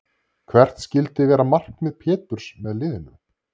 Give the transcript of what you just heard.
Hvert skyldi vera markmið Péturs með liðinu?